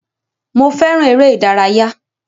Mo fẹràn eré ìdárayá.